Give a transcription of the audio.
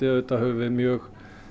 höfum við mjög